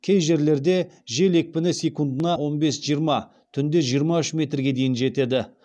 кей жерлерде жел екпіні секундына он бес жиырма түнде жиырма үш метрге дейін жетеді